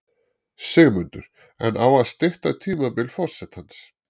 Sigmundur: En á að stytta tímabil forsetans?